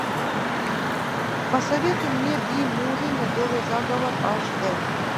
посоветуй мне би муви медовый заговор аш дэ